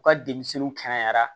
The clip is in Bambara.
U ka denmisɛnninw kɛnɛyara